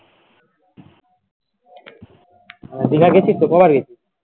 দিঘা গেছিস কতবার গেছিস